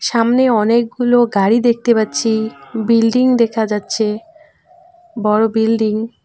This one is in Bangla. সামনে অনেকগুলো গাড়ি দেখতে পাচ্ছি বিল্ডিং দেখা যাচ্ছে বড়ো বিল্ডিং --